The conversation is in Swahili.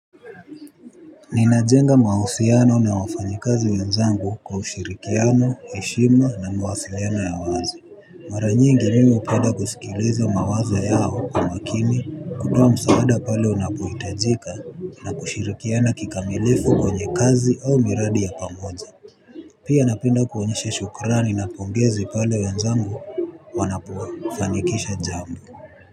Ninajenga mahusiano na wafanyikazi wenzangu kwa ushirikiano, heshima na mawasiliano ya wazi. Mara nyingi mimi hupenda kusikiliza mawazo yao kwa makini kutoa msaada pale unapohitajika na kushirikiana kikamilifu kwenye kazi au miradi ya pamoja. Pia napenda kuonyesha shukrani na pongezi pale wenzangu wanapofanikisha jambo.